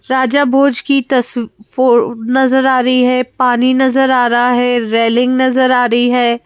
राजा भोज की तसफो नजर आ रही है पानी नजर आ रहा है रेलिंग नजर आ रही है।